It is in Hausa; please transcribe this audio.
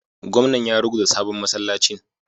Gwamnan ya ruguza sabon masallacin